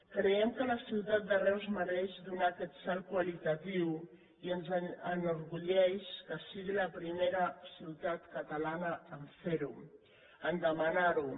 creiem que la ciutat de reus mereix donar aquest salt qualitatiu i ens enorgulleix que sigui la primera ciutat catalana a fer ho a demanar ho